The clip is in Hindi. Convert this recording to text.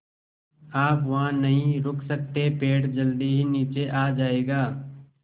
आप वहाँ नहीं रुक सकते पेड़ जल्दी ही नीचे आ जाएगा